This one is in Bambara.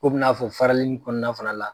Ko bɛ n'a fɔ farali ni kɔnɔna fana la.